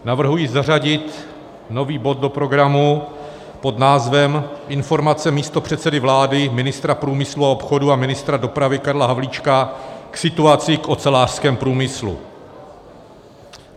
Navrhuji zařadit nový bod do programu pod názvem Informace místopředsedy vlády, ministra průmyslu a obchodu a ministra dopravy Karla Havlíčka k situaci v ocelářském průmyslu.